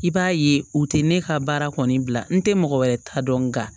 I b'a ye u tɛ ne ka baara kɔni bila n tɛ mɔgɔ wɛrɛ ta dɔn nka